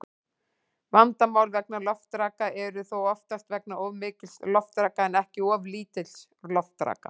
Vandamál vegna loftraka eru þó oftast vegna of mikils loftraka en ekki of lítils loftraka.